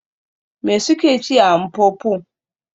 Me suke ci a Mpopo?